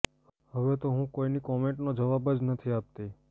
હવે તો હું કોઈની કમેન્ટનો જવાબ જ નથી આપતી